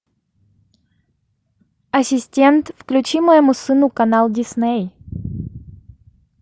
ассистент включи моему сыну канал дисней